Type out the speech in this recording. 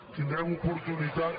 tindrem oportunitat